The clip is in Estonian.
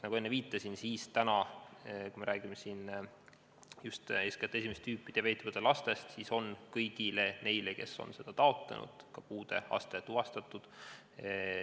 Nagu ma enne viitasin, on täna – kui räägime just esimest tüüpi diabeeti põdevatest lastest – kõigil neil, kes seda on taotlenud, puudeaste ka tuvastatud.